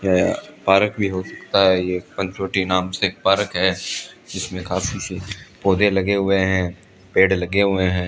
यह पारक भी होता है ये पंचवटी नाम से पारक है इसमें काफी पौधे लगे हुए हैं पेड़ लगे हुए हैं।